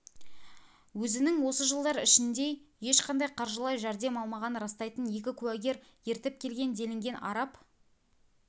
өзінің осы жылдар ішіндей ешқандай қаржылай жәрдем алмағанын растайтын екі куәгер ертіп келген делінген араб